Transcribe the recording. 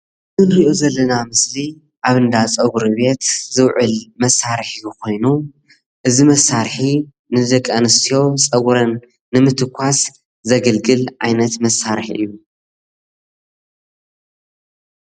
እዚ እንሪኦ ዘለና ምስሊ ኣብ እንዳፀጉሪ ቤት ዝውዕል መሳሪሒ ኮይኑ እዚ መሳርሒ ንደቂ ኣንስትዮ ፀጉረን ንምትኳስ ዘገልግል ዓይነት መሳርሒ እዩ፡፡